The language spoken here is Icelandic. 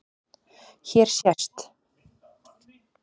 Hér sést